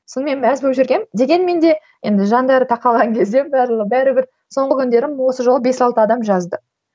сонымен мәз болып жүргенмін дегенмен де енді жандары тақаған кезде бәрібір соңғы күндері осы жолы бес алты адам жазды